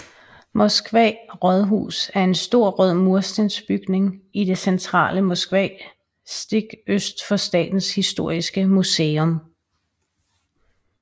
Moskva Rådhus er en stor rød murstensbygning i det centrale Moskva stik øst for Statens Historiske Museum